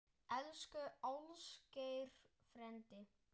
Elsku Ásgeir frændi.